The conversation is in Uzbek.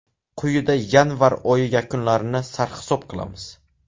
Quyida yanvar oyi yakunlarini sarhisob qilamiz.